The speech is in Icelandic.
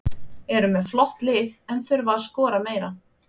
Eru með flott lið en þurfa að skora meira.